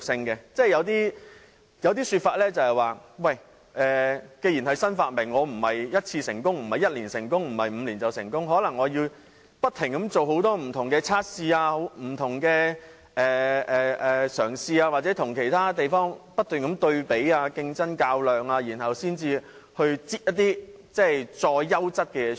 有些說法是，既然是新發明，不是嘗試1次或在1年或5年內便可成功，而是可能須不停做很多不同的測試、嘗試或與其他地方不斷對比，競爭和較量，然後再推出更優質的事物。